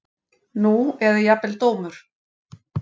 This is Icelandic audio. Nú eða jafnvel dómur